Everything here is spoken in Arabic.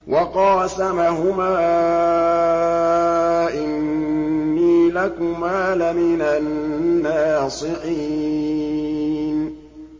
وَقَاسَمَهُمَا إِنِّي لَكُمَا لَمِنَ النَّاصِحِينَ